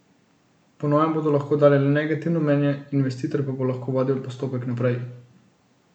Po novem bodo lahko dali le negativno mnenje, investitor pa bo lahko vodil postopek naprej.